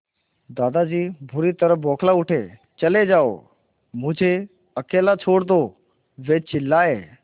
दादाजी बुरी तरह बौखला उठे चले जाओ मुझे अकेला छोड़ दो वे चिल्लाए